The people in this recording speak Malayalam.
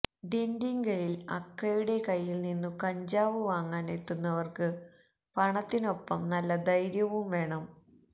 ദിണ്ടിഗലിൽ അക്കയുടെ കയ്യിൽനിന്നു കഞ്ചാവ് വാങ്ങാൻ എത്തുന്നവർക്കു പണത്തിനൊപ്പം നല്ല ധൈര്യവും വേണം